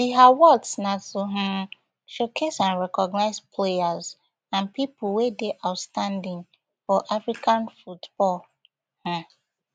di awards na to um showcase and recognise players and pipo wey dey outstanding for african football um